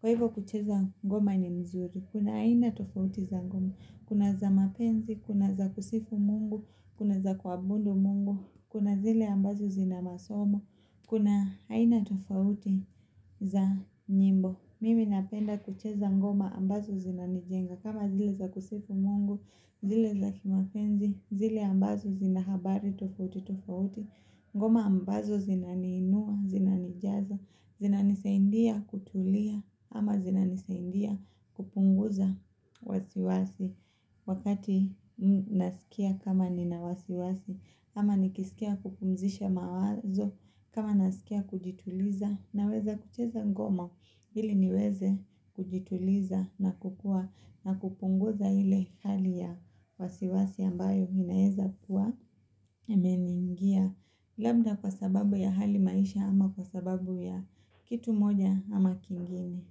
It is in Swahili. Kwa hivyo kucheza ngoma ni mzuri Kuna haina tofauti za ngoma Kuna za mapenzi, kuna za kusifu mungu Kuna za kuabundu mungu Kuna zile ambazo zina masomo Kuna haina tofauti za nyimbo Mimi napenda kucheza ngoma ambazo zina nijenga kama zile za kusifu mungu zile za kimapenzi zile ambazo zina habari tofauti tofauti ngoma ambazo zinaniinua, zinanijaza, zinanisaindia kutulia ama zinanisaindia kupunguza wasiwasi Wakati nasikia kama ninawasiwasi ama nikisikia kupumzisha mawazo kama nasikia kujituliza na weza kucheza ngoma Hili niweze kujituliza na kukuwa na kupunguza hile hali ya wasiwasi ambayo inaeza kuwa imeniingia labda kwa sababu ya hali maisha ama kwa sababu ya kitu moja ama kingine.